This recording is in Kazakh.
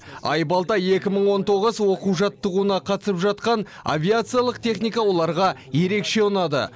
айбалтас екі мың он тоғыз оқу жаттығуына қатысып жатқан авиациалық техника оларға ерекше ұнады